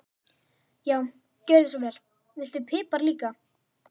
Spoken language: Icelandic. Já, gjörðu svo vel. Viltu pipar líka?